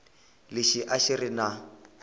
lexi a xi ri na